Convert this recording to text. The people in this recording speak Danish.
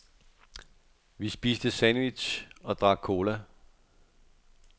Vi spiste sandwich og drak cola.